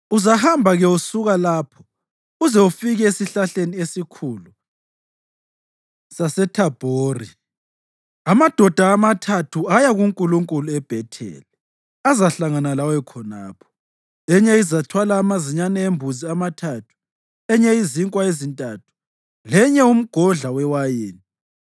Uzahamba-ke usuka lapho uze ufike esihlahleni esikhulu saseThabhori. Amadoda amathathu aya kuNkulunkulu eBhetheli azahlangana lawe khonapho. Enye izathwala amazinyane embuzi amathathu, enye izinkwa ezintathu lenye umgodla wewayini.